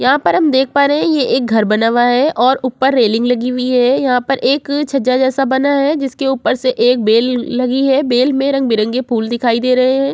यहां पर हम देख पा रहे एक घर बना हुआ है और ऊपर एक रेलिंग लगी हुई है। यहां पर एक छज्जा जैसा बनाया जिसके ऊपर से एक बेल लगी है। बेल में रंग-बिरंगे फूल दिखाई दे रहे हैं।